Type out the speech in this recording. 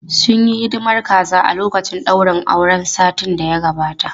Sun yi hidimar kaza a lokacin daurin auren satin da ya gabata.